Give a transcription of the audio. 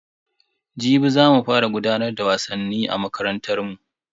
Jibi za mu fara gudanar da wasannin a makarantar mu.